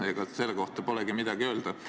Ega selle kohta polegi midagi öelda.